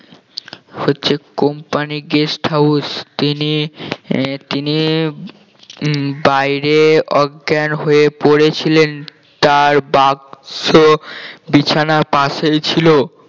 হচ্ছে company guest house তিনি আহ তিনি উম বাহিরে অজ্ঞান হয়ে পড়েছিলেন তার বাক্স বিছানা পাশেই ছিল